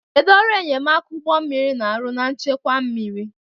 Kedu ọrụ enyemaka ụgbọ mmiri na-arụ na nchekwa mmiri?